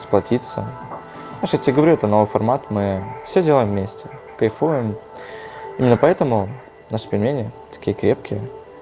сплотиться что тебе говорю это новый формат мы все делаем вместе кайфуем именно поэтому наши пельмени такие крепкие